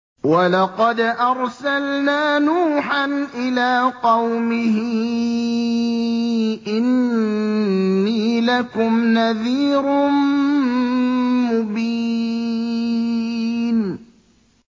وَلَقَدْ أَرْسَلْنَا نُوحًا إِلَىٰ قَوْمِهِ إِنِّي لَكُمْ نَذِيرٌ مُّبِينٌ